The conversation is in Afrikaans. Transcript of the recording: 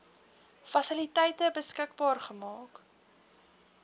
fasiliteite beskikbaar maak